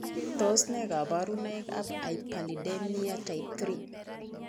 Tos ne kabarunoik ab hyperlipidemia type 3?